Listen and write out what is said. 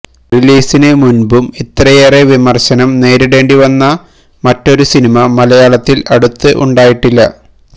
റിലീസിനു മുൻപും ഇത്രയേറെ വിമർശനം നേരിടേണ്ടി വന്ന മറ്റൊരു സിനിമ മലയാളത്തിൽ അടുത്ത് ഉണ്ടായിട്ടില്ല